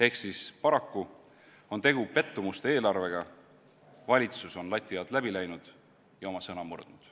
Ehk paraku on tegu pettumuste eelarvega, valitsus on lati alt läbi läinud ja oma sõna murdnud.